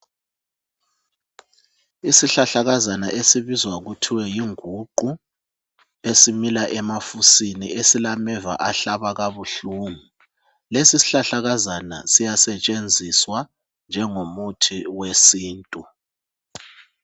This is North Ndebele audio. Isihlahlakazana esibizwa kuthiwe yinguqu. Esimila emafusini. Esilameva ahlaba kabuhlungu. Lesisihlahlakazana siyasetshenziswa njengomuthi wesinntu.